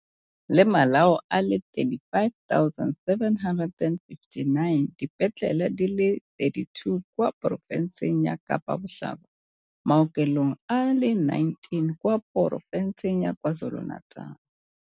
Le malao a le 35 759. Dipetlele di le 32 kwa porofenseng ya Kapa Botlhaba, maokelong a le 19 kwa poro fenseng ya KwaZulu-Natal.